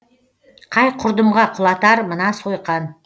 қай құрдымға құлатар мына сойқан